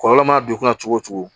Kɔlɔlɔ mana don i kunna cogo o cogo